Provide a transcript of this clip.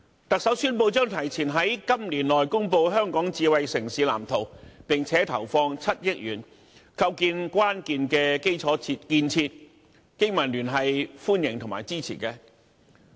特首宣布將提前在今年內公布香港智慧城市藍圖，並投放7億元，構建關鍵的基礎建設，經民聯對此表示歡迎和支持。